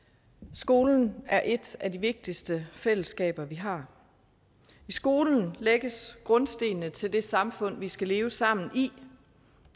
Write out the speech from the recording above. skolen er et af de vigtigste fællesskaber vi har i skolen lægges grundstenene til det samfund vi skal leve sammen i